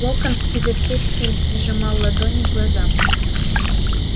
локонс изо всех сил прижимал ладони к глазам